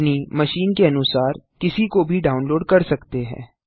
आप अपनी मशीन के अनुसार किसी को भी डाउनलोड कर सकते हैं